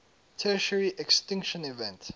tertiary extinction event